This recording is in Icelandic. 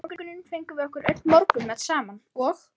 Um morguninn fengum við okkur öll morgunmat saman og